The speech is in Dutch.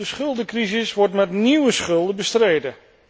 De schuldencrisis wordt met nieuwe schulden bestreden.